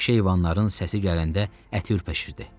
Vəhşi heyvanların səsi gələndə əti ürpəşirdi.